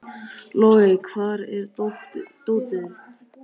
Logey, hvar er dótið mitt?